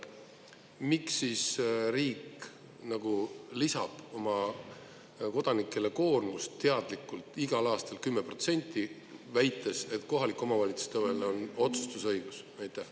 Miks siis riik lisab oma kodanikele koormust teadlikult igal aastal 10%, väites, et kohalikel omavalitsustel on otsustusõigus?